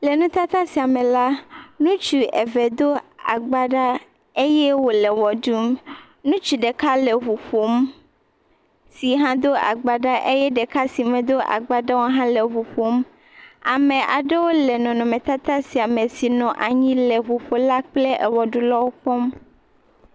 Le nutata sia me la. Ŋutsu eve aɖewo do agbala. Ŋutsu ɖeka ɖe ʋu ƒom si hã Do agbala eye ɖeka se me Do agbala wò hã le ʋuƒom. Ame aɖewo le nɔnɔme tata sia me si nɔ anyi le ʋu ƒolawo kple ewɔ ɖulawo kpɔm.